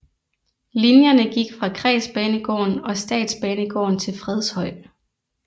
Linjerne gik fra kredsbanegården og statsbanegården til Fredshøj